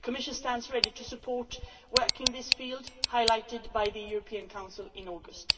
The Commission stands ready to support work in this field highlighted by the European Council in August.